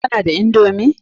Kana da indomi?